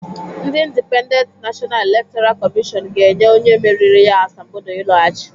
Ndị Indipendent Nashọna Elektọra Kọmịshọn ga-enye onye meriri ya asambodo ịlọghachi